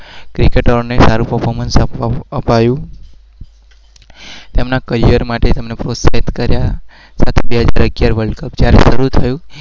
સારું પર્ફોર્મનસ